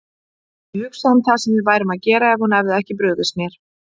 Ég hugsa um það sem við værum að gera ef hún hefði ekki brugðist mér.